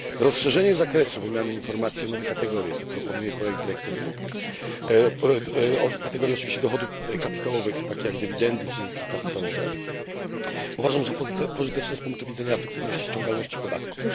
Rozszerzenie zakresu wymiany informacji o nowe kategorie, co proponuje projekt dyrektywy o kategorie oczywiście dochodów kapitałowych, takie jak dywidendy czy zyski kapitałowe uważam za pożyteczne z punktu widzenia efektywności ściągalności podatków.